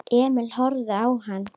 Emil horfði á hann.